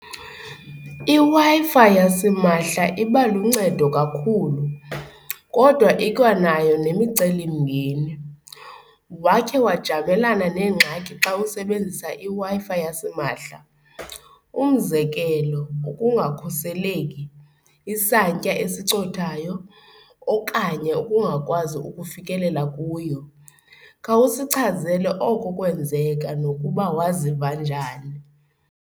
IWi-Fi yasimahla iba luncedo kakhulu kodwa ikwanayo nemicelimngeni, wakhe wajamelana neengxaki xa usebenzisa iWi-Fi yasimahla umzekelo ukungakhuseleki, isantya esincothayo okanye ukungakwazi ukufikelela kuyo? Khawusichazele oko kwenzeka nokuba waziva njani.